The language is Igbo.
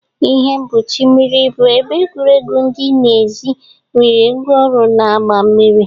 Ihe mgbochi mmiri bụ ebe egwuregwu dị n'èzí nwere ngwaọrụ na-agba mmiri.